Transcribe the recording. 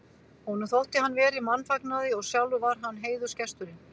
Honum þótti hann vera í mannfagnaði og sjálfur var hann heiðursgesturinn.